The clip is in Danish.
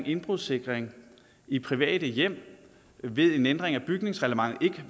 indbrudssikring i private hjem ved en ændring af bygningsreglementet ikke